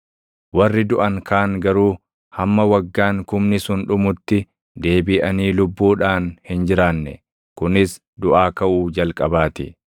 Warri duʼan kaan garuu hamma waggaan kumni sun dhumutti deebiʼanii lubbuudhaan hin jiraanne. Kunis duʼaa kaʼuu jalqabaa ti.